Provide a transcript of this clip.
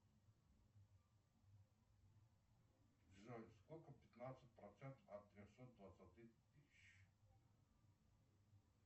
джой сколько пятнадцать процентов от трехсот двадцати тысяч